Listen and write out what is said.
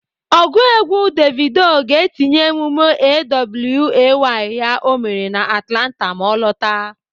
Ọgụ egwu Davido ga-etinye emume A.W.A.Y ya o mere na Atlanta ma ọ lọtaa.